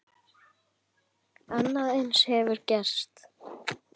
Annað eins hefur gerst.